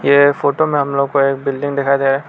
यह फोटो में हम लोगों को एक बिल्डिंग दिखा दे रहा है।